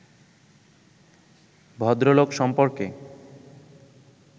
ভদ্রলোক সম্পর্কে